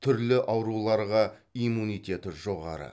түрлі ауруларға иммунитеті жоғары